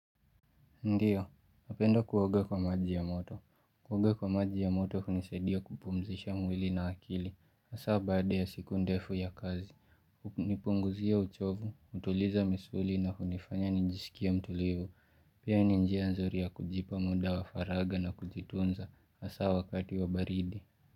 Ndiyo, napendo kuoga kwa maji ya moto. Kuoga kwa maji ya moto hunisadia kupumzisha mwili na akili. Hasa baada ya siku ndefu ya kazi. Hunipunguzia uchovu, hutuliza misuli na hunifanya nijisikie mtulivu. Pia ni njia nzuri ya kujipa muda wa faragha na kujitunza. Hasa wakati wa baridi.